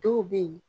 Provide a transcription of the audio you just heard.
Dɔw bɛ yen